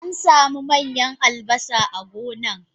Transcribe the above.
Ansamu manyan albasa a gonan.